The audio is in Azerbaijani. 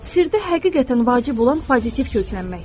Sirdə həqiqətən vacib olan pozitiv köklənməkdir.